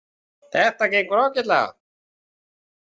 Þetta gengur ágætlega